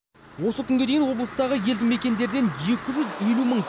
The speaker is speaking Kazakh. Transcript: осы күнге дейін облыстағы елді мекендерден екі жүз елу мың